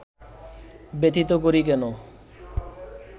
ব্যথিত করি কেন